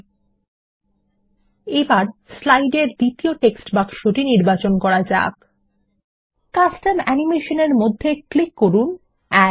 LT LT বিরাম GT GT এবার slide এর দ্বিতীয় টেক্সট বাক্স নির্বাচন করুন কাস্টম অ্যানিমেশন এর মধ্যে ক্লিক করুন এড